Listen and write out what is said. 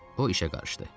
O işə qarışdı.